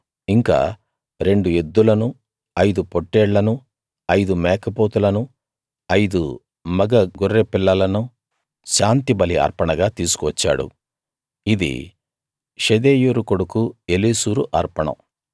ఇంకా రెండు ఎద్దులను ఐదు పొట్టేళ్ళనూ ఐదు మేకపోతులను ఐదు మగ గొర్రెపిల్లలను శాంతిబలి అర్పణగా తీసుకువచ్చాడు ఇది షెదేయూరు కొడుకు ఏలీసూరు అర్పణం